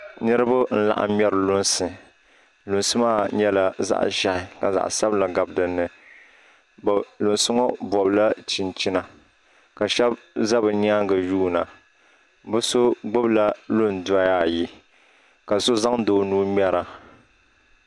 Niriba n-laɣim ŋmɛri lunsi lunsi maa nyɛla zaɣ' ʒɛhi ka zaɣ' sabila ɡabi di ni lunsi ŋɔ bɔbila chinchina ka shɛba za bɛ nyaaŋa yuuna bɛ so ɡbubila lundɔya ayi ka so zaŋdi o nuu ŋmɛra